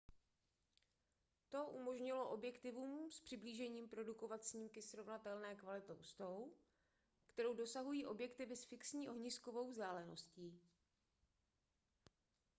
to umožnilo objektivům s přiblížením produkovat snímky srovnatelné kvality s tou kterou dosahují objektivy s fixní ohniskovou vzdáleností